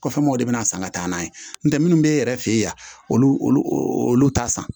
Kɔfɛ mɔgɔw de bɛna san ka taa n'a ye n'o tɛ minnu bɛ e yɛrɛ fɛ yen olu olu olu olu t'a san